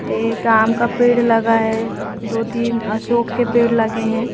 एक आम का पेड़ लगा है दो तीन अशोक के पेड़ लगे हैं।